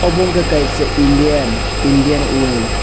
obo ungkha kaisa indian indian oil .